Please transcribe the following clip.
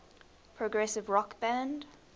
progressive rock band